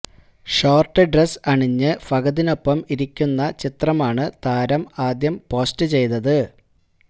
short dress അണിഞ്ഞ് ഫഹദിനൊപ്പം ഇരിക്കുന്ന ചിത്രമാണ് താരം ആദ്യം പോസ്റ്റ് ചെയ്തത്